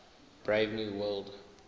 brave new world